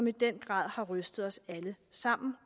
i den grad har rystet os alle sammen